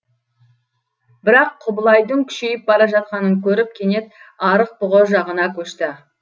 бірақ құбылайдың күшейіп бара жатқанын көріп кенет арық бұғы жағына көшті